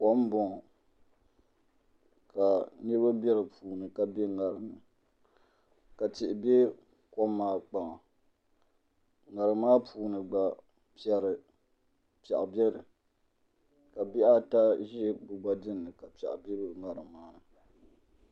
Kom n boŋo ka niraba bɛ di puuni ka bɛ ŋarim ni ka tihi bɛ kok maa kpaŋa ŋarim maa puuni gba piɛɣu biɛni ka bihi ata ʒi bi gba dinni ka piɛɣu bɛ di gba ni